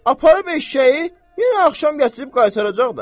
Aparıb eşşəyi, yenə axşam gətirib qaytaracaq da.